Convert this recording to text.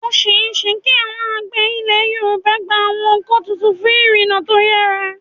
Ó ṣeé ṣe kí àwọn àgbẹ̀ Ilẹ̀ Yorùbá gba àwọn ọkọ̀ tuntun fún ìrìnnà tó yára.